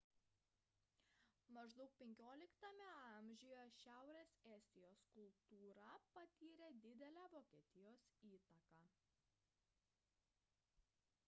maždaug xv amžiuje šiaurės estijos kultūra patyrė didelę vokietijos įtaką